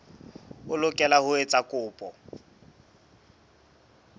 o lokela ho etsa kopo